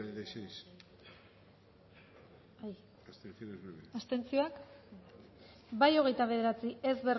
dezakegu bozketaren emaitza onako izan da hirurogeita hamalau eman dugu bozka hogeita bederatzi boto